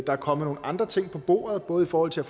er kommet nogle andre ting på bordet både i forhold til